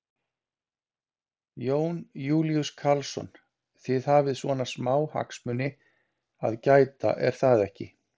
Jón Júlíus Karlsson: Þið hafið svona smá hagsmuni að gæta er það ekki?